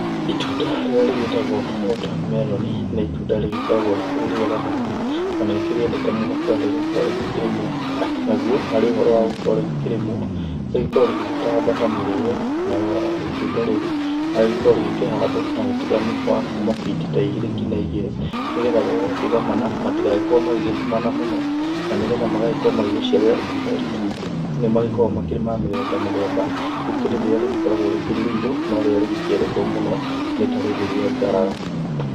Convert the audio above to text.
Itunda rĩrĩa rĩgĩtagwo water melon nĩ itunda rĩgĩkoragwo rĩkĩrĩ rĩega mũno, na ngĩrĩendete mũno kũrĩa rĩgũkorwo rĩgĩkĩrĩmwo. Naguo, harĩ ũhoro wa gũkorwo rĩgĩkĩrĩmwo, rĩgĩkoragwo rĩgĩgĩtamba ta mĩrĩĩo, nayo itunda rĩu, agĩkoragwo rĩgĩkĩhandwo na ũtigani wa kuma biti ta igĩrĩ nginya igĩrĩ, nĩ getha rĩrĩa rĩakĩgomana, matigagĩkorwo magĩgĩtumana mũno, na ni getha magagĩkorwo magĩgũciarĩra itunda itungu. Nĩ magĩkoragwo marĩ ma mĩthemba mĩthemba; gũkĩrĩ rĩrĩa rĩgĩkoragwo rĩkĩrĩ rĩirũ, no rĩrĩa rĩgĩkĩendetwo mũno nĩ ta rĩrĩ rĩa ngarara.